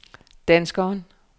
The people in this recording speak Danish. danskeren